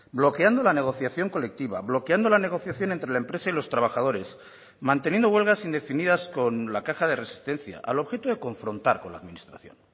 bloqueando la negociación colectiva bloqueando la negociación entre la empresa y los trabajadores manteniendo huelgas indefinidas con la caja de resistencia al objeto de confrontar con la administración